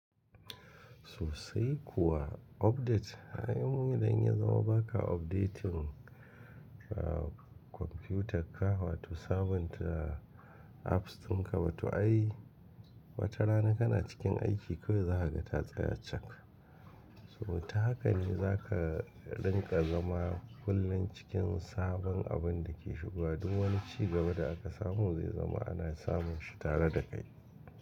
Sosai kuwa update, ay mu idan ya zama baka updating a komfiyutarka, wato sabon apps tun ka ba ta yi, wata rana kana cikin aiki kawai za a ga tatsaya cak. To ta haka ne za ka rinƙa zama kullum cikin sabon abin da ke shigowa. Duk wani ci gaba da aka samu zai zama ana samun shi tare da kai.